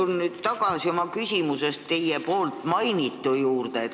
Ma pöördun oma küsimuses tagasi teie poolt mainitu juurde.